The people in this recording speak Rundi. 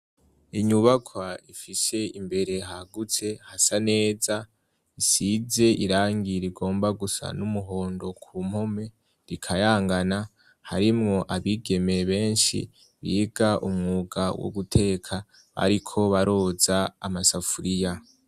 Inyubaka ifishe imbere hagutse hasa neza isize irangi rigomba gusa n'umuhondo ku mpome rikayangana harimwo abigeme beshi biga umwuga wo guteka bariko baroza amasafuriya.